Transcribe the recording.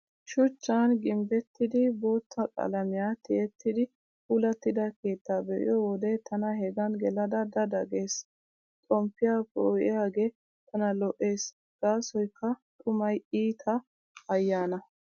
Shuchchan gimbbettidi bootta qalamiyaa tiyettidi puulattida keettaa be'iyo wode tana hegan gelada da da gees. Xomppiyaa poo'iyaagee tana lo'ees gaasoykka xumay iita ayyaana.